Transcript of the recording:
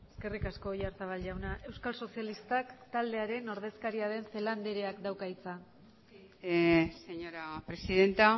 eskerrik asko oyarzabal jauna euskal sozialistak taldearen ordezkaria den celaá andreak dauka hitza señora presidenta